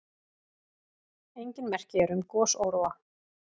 Engin merki eru um gosóróa.